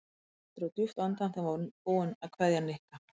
Kamilla dró djúpt andann þegar hún var búin að kveðja Nikka.